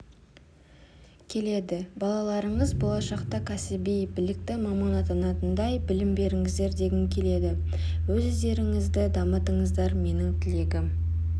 келеді балаларыңыз болашақта кәсіби білікті маман атанатындай білім беріңіздер дегім келеді өз-өздеріңізді дамытыңыздар менің тілегім